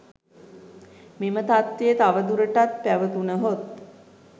මෙම තත්ත්වය තවදුරටත් පැවතුණහොත්